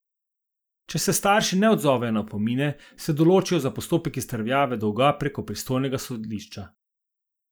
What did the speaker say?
Če se starši ne odzovejo na opomine, se odločijo za postopek izterjave dolga prek pristojnega sodišča.